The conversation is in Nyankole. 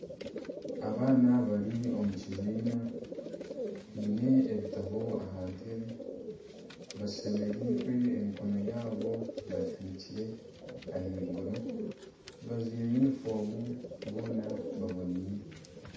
Abaana bari omu kibiina, baine ebitabo aha ntebe. Bashemereirwe emikono yaabo bagihanikire ahaiguru. Bajwaire yunifoomu, boona baboneire.